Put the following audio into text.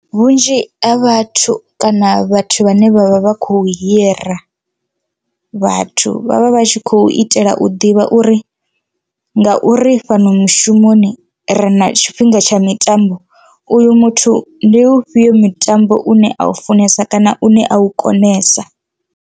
Vhunzhi ha vhathu kana vhathu vhane vhavha vha kho hira vhathu vhavha vha tshi khou itela u ḓivha uri ngauri fhano mushumoni ri na tshifhinga tsha mitambo uyu muthu ndi ufhio mutambo une a u funesa kana une a u konesa.